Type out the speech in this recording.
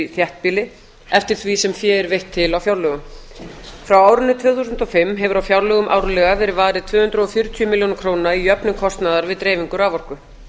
þéttbýli eftir því sem fé er veitt til á fjárlögum frá árinu tvö þúsund og fimm hefur á fjárlögum árlega verið varið tvö hundruð og fjörutíu milljónum króna í jöfnun kostnaðar við dreifingu raforku